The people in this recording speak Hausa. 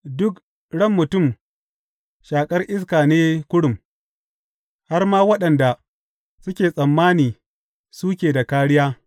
Duk ran mutum shaƙar iska ne kurum, har ma waɗanda suke tsammani suke da kāriya.